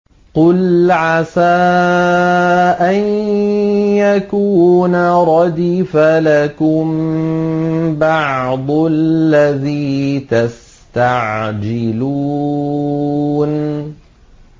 قُلْ عَسَىٰ أَن يَكُونَ رَدِفَ لَكُم بَعْضُ الَّذِي تَسْتَعْجِلُونَ